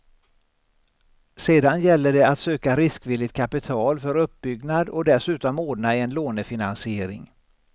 Sedan gäller det att söka riskvilligt kapital för uppbyggnad och dessutom ordna en lånefinansiering.